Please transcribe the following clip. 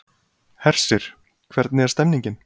Hersir, hvernig er stemningin?